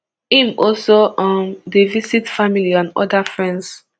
im also um dey visit family and oda friends